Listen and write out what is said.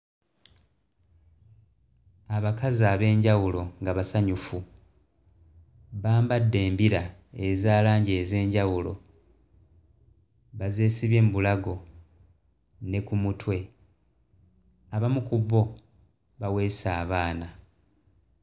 Abakazi ab'enjawulo nga basanyufu bambadde embira eza langi ez'enjawulo bazeesibye mu bulago ne ku mutwe. Abamu ku bo baweese abaana.